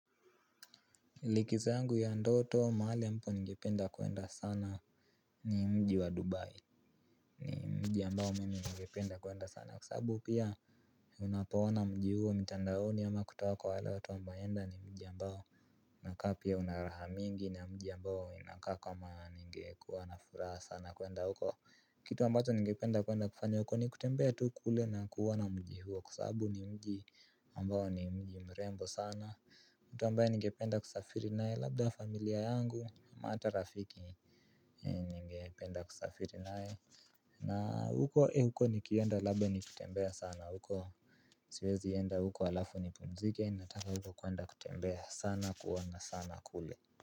Likizo yangu ya ndoto mahali ambapo ngependa kuenda sana. Ni mji wa Dubai. Ni mji ambao mimi ngependa kuenda sana kwa sabu pia unapoona mji huo mtandaoni ama kutoka kwa wale watu wa mbaenda ni mji ambao unakaa pia una raha mingi ni mji ambao inakaa kama nge kuwa na furaha sana kuenda huko. Kitu ambacho ngependa kuenda kufanya huko ni kutembea tu kule na kuona mji huo kwa sababu ni mji ambao ni mji mrembo sana. Mtu ambaye ningependa kusafiri naye labda familia yangu ata rafiki ninge penda kusafiri naye na huko e huko nikienda labda nikitembea sana huko. Siwezi enda huko alafu nipumzike nataka huko kuenda kutembea sana kuona sana kule.